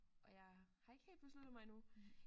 Og jeg har ikke helt besluttet mig endnu